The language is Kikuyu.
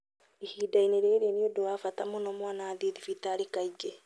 Ihinda-inĩ rĩrĩ, nĩ ũndũ wa bata mũno mwana athiĩ thibitarĩ kaingĩ.